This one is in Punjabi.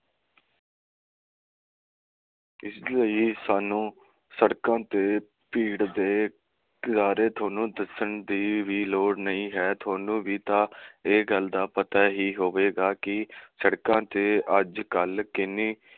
ਇਸ ਲਈ ਹੀ ਸਾਨੂੰ ਸੜਕਾਂ ਤੇ ਭੀੜ ਦੇ ਤੁਹਾਨੂੰ ਦੱਸਣ ਦੀ ਵੀ ਲੋੜ ਨਹੀਂ ਹੈ, ਤੁਹਾਨੂੰ ਵੀ ਤਾਂ ਇਹ ਗੱਲ ਦਾ ਪਤਾ ਹੀ ਹੋਵੇਗਾ ਕਿ ਸੜਕਾਂ ਤੇ ਅੱਜ ਕੱਲ ਕਿੰਨੀ